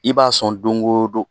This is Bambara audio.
I b'a sɔn don o don